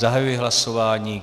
Zahajuji hlasování.